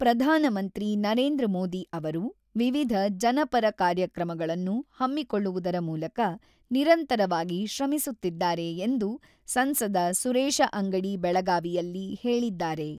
"""ಪ್ರಧಾನಮಂತ್ರಿ ನರೇಂದ್ರ ಮೋದಿ ಅವರು ವಿವಿಧ ಜನಪರ ಕಾರ್ಯಕ್ರಮಗಳನ್ನು ಹಮ್ಮಿಕೊಳ್ಳುವುದರ ಮೂಲಕ ನಿರಂತರವಾಗಿ ಶ್ರಮಿಸುತ್ತಿದ್ದಾರೆ"" ಎಂದು ಸಂಸದ ಸುರೇಶ ಅಂಗಡಿ ಬೆಳಗಾವಿಯಲ್ಲಿ ಹೇಳಿದ್ದಾರೆ."